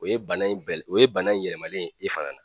O ye bana in bɛ o ye bana in yɛlɛmalen ye e fana na.